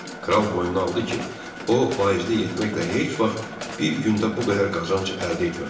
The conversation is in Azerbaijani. Kral boynuna aldı ki, o vaizlik etməklə heç vaxt bir gündə bu qədər qazanc əldə etməmişdi.